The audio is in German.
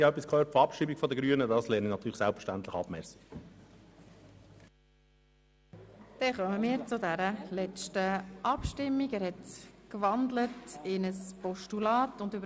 Ich habe gehört, die Grünen beantragen Abschreibung, doch diese lehne ich selbstverständlich ab.